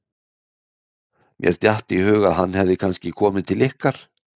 Mér datt í hug að hann hefði kannski komið til ykkar.